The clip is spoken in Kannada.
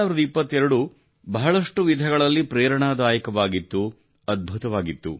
2022 ಬಹಳಷ್ಟು ವಿಧಗಳಲ್ಲಿ ಪ್ರೇರಣಾದಾಯಕವಾಗಿತ್ತು ಅದ್ಭುತವಾಗಿತ್ತು